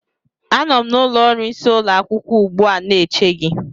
Anọ m n'ụlọ ọrụ isi ụlọ akwụkwọ ugbu a na-eche gị